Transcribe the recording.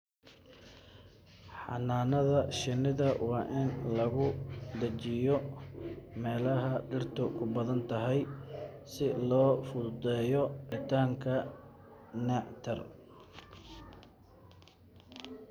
Xannaanada shinnida waa in lagu dhejiyaa meelaha dhirtu ku badan tahay si loo fududeeyo helitaanka nectar.